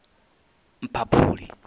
mphaphuli